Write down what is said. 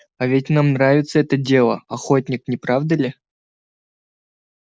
а ведь нам нравится это дело охотник не правда ли